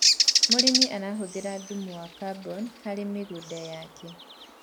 mũrĩmi arahuthirathumu wa carbon harĩ mĩgũnda yake